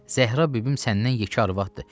Zəhra bibim səndən yekə arvaddır.